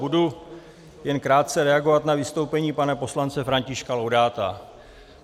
Budu jen krátce reagovat na vystoupení pana poslance Františka Laudáta.